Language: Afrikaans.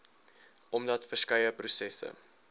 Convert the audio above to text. omdat verskeie prosesse